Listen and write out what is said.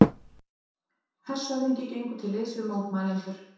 Hershöfðingi gengur til liðs við mótmælendur